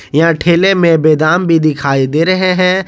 यह ठेले में बादाम भी दिखाई दे रहे हैं।